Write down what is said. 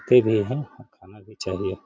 खाना भी चाहिए।